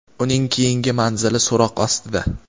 uning keyingi manzili so‘roq ostida;.